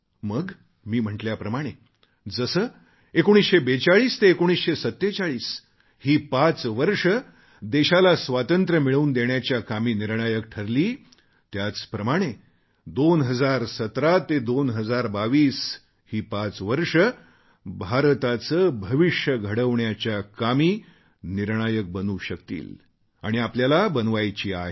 मग मी म्हटल्याप्रमाणे जशी 1945 ते 1947 ही पाच वर्षं देशाला स्वातंत्र्य मिळवून देण्याच्या कामी निर्णायक ठरली त्याचप्रमाणे 2017 ते 2022 ही पाच वर्षं भारताचे भविष्य घडविण्याच्या कामी निर्णायक बनू शकतील आणि आपल्याला बनवायची आहेत